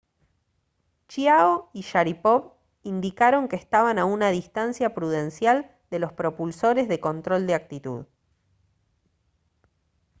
chiao y sharipov indicaron que estaban a una distancia prudencial de los propulsores de control de actitud